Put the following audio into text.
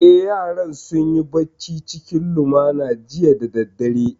Eh, yaran sun yi bacci cikin lumana jiya da daddare